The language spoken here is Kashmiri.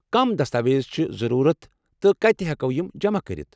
کم دستاویز چھ ضروٗرت تہٕ کتہ ہٮ۪کو یم جمع کٔرتھ؟